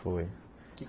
Foi.